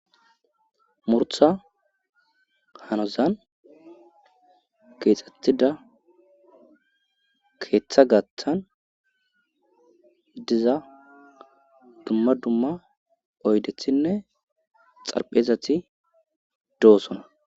murtha hanozan keexxetida keeththa gathan diza dumma dumma oydethinne xarpheezati doosona